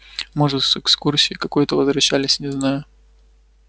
может с экскурсии какой-то возвращались не знаю